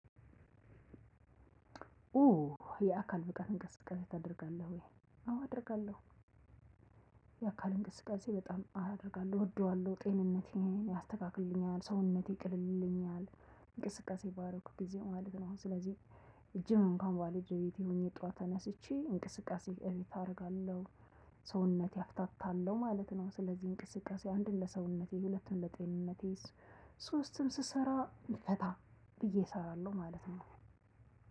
ኡ የአካል ብቃት እንቅስቃሴ ታደርጋለህ ወይ? አዎ አደርጋለሁ። የአካል እንቅስቃሴ በጣም አደርጋለሁ እወደዋለሁ ጤንነቴን ያስተካክልልኛል ሰውነቴ ቅልል ይልልኛል። እንቅስቃሴ ባደረኩ ግዜ ማለት ነው ስለዚህ። ጂም እንኩዋን ባልሄድ በቤቴ ሆኘ ጠዋት ተነስቼ እንቅስቃሴ ቤት አደርጋለሁ። ሰውነቴ አፍታታለሁ ማለት ነው ስለዚህ እንቅስቃሴ አንድን ለሰውነቴ ሁለት ለጤንነቴ። ሶስትም ስሰራ ፈታ ብዬ እሰራለሁ ማለት ነው።